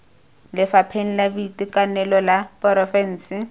lefapheng la boitekanelo la porofense